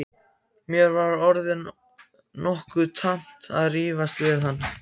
Mér var orðið nokkuð tamt að rífast við hann.